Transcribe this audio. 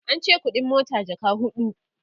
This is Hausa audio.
ance ƙuɗin mota jaka huɗu